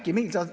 Kes teab?